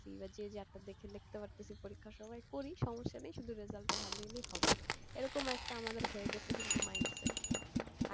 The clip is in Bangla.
এবার যে যার টা দেখে লিখতে পারতাছি পরীক্ষার সময় করি সমস্যা নেই শুধু result টা ভালো এলেই হবে এরকম একটা আমাদের হয়ে গেছে কিন্তু mind set